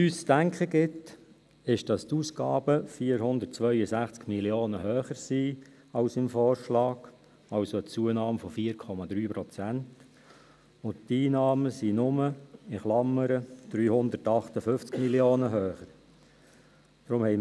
Zu denken gibt uns, dass die Ausgaben um 462 Mio. Franken höher sind als im VA, also durch eine Zunahme von 4,3 Prozent, während die Einnahmen «nur» 358 Mio. Franken höher sind.